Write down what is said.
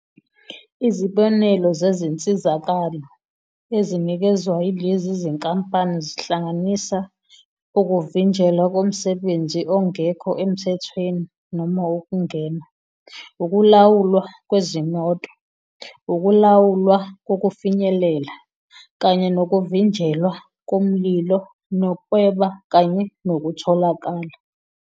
Izibonelo zezinsizakalo ezinikezwa yilezi zinkampani zihlanganisa ukuvinjelwa komsebenzi ongekho emthethweni noma ukungena, ukulawulwa kwezimoto, ukulawulwa kokufinyelela, kanye nokuvinjelwa komlilo nokweba kanye nokutholakala.